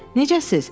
Necəsiz?